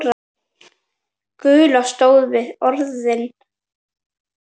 Gulla stóð við orð sín.